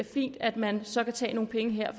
fint at man så kan tage nogle penge her